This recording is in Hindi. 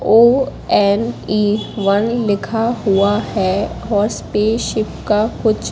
ओ_एन_ए वन लिखा हुआ है और स्पेसशिप का कुछ--